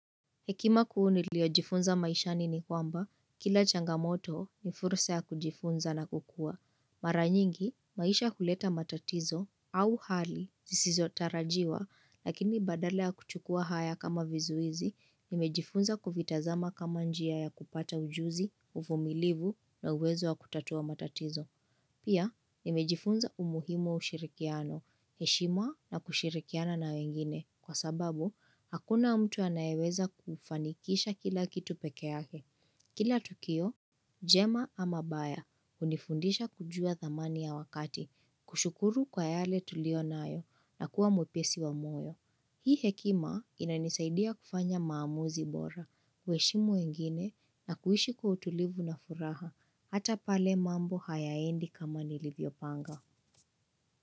Hekima kuu nilio jifunza maishani ni kwamba, kila changamoto ni fursa ya kujifunza na kukua. Maranyingi, maisha huleta matatizo au hali zisizotarajiwa, lakini badala ya kuchukua haya kama vizuizi, nimejifunza kuvitazama kama njia ya kupata ujuzi, uvumilivu na uwezo wa kutatua matatizo. Pia, nimejifunza umuhimu wa ushirikiano, heshima na kushirikiana na wengine, Kwa sababu, hakuna mtu anayeweza kufanikisha kila kitu pekee yake. Kila tukio, jema ama baya hunifundisha kujua thamani ya wakati, kushukuru kwa yale tulio nayo na kuwa mwepesi wa moyo. Hii hekima inanisaidia kufanya maamuzi bora, kuheshimu wengine na kuishi kwa utulivu na furaha, hata pale mambo hayaendi kama nilivyo panga.